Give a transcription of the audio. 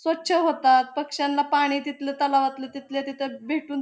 स्वच्छ होतात पक्ष्यांना पाणी तिथल तलावातल तिथल्या तिथ भेटून --